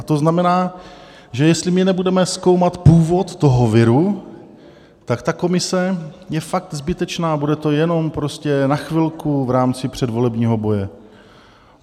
A to znamená, že jestli my nebudeme zkoumat původ toho viru, tak ta komise je fakt zbytečná, bude to jenom prostě na chvilku v rámci předvolebního boje.